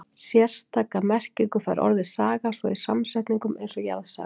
sérstaka merkingu fær orðið saga svo í samsetningum eins og jarðsaga